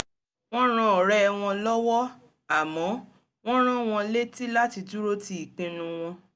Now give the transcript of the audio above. wọ́n ran ọ̀rẹ́ wọn lọ́wọ́ àmọ́ wọ́n rán wọn létí láti dúró ti ìpinnu wọn